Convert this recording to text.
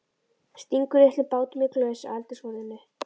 Stingur litlum bátum í glös á eldhúsborðinu.